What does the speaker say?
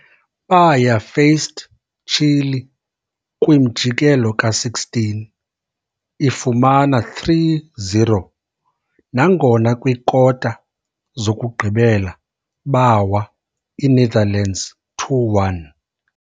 Baya faced Chile kwimjikelo ka-16, ifumana 3-0, nangona kwikwikota zokugqibela bawa, iNetherlands 2-1.